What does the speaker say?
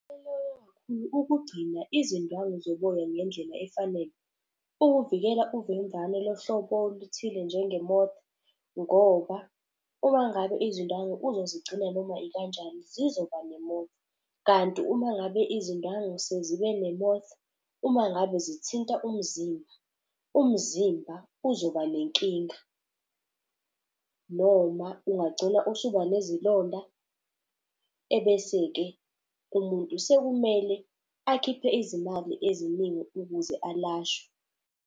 Ukugcina izindwangu zoboya ngendlela efanele. Ukuvikela uvemvane lohlobo oluthile njenge-moth. Ngoba uma ngabe izindwangu uzozigcina noma ikanjani zizoba ne-moth. Kanti uma ngabe izindwangu sezibe ne-moth, uma ngabe zithinta umzimba, umzimba uzoba nenkinga. Noma ungagcina usuba nezilonda, ebese-ke kumuntu sekumele akhiphe izimali eziningi ukuze alashwe.